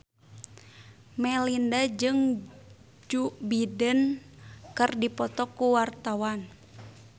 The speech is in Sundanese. Melinda jeung Joe Biden keur dipoto ku wartawan